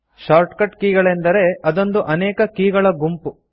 shortcut key ಗಳೆಂದರೆ ಅದೊಂದು ಅನೇಕ ಕೀ ಗಳ ಗುಂಪು